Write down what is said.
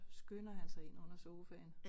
Skynder han sig ind under sofaen